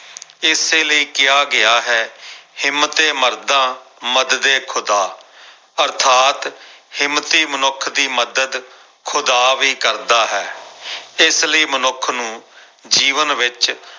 ਇਸੇ ਲਈ ਕਿਹਾ ਗਿਆ ਹੈ ਹਿੰਮਤੇ ਮਰਦਾ ਮਦਦ ਏ ਖੁਦਾ ਅਰਥਾਤ ਹਿੰਮਤੀ ਮਨੁੱਖ ਦੀ ਮਦਦ ਖੁਦਾ ਵੀ ਕਰਦਾ ਹੈ ਇਸ ਲਈ ਮਨੁੱਖ ਨੂੰ ਜੀਵਨ ਵਿੱਚ